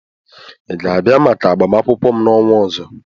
ị ga-abịa maka agbamakwụkwọ m n'ọnwa ọzọ?